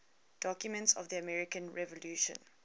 documents of the american revolution